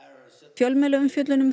fjölmiðlaumfjöllun um